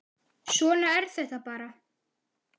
Svona er þetta bara.